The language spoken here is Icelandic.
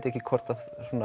ekki hvort